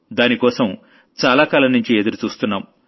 దానికోసం చాలాకాలం నుంచి ఎదురుచూస్తున్నాం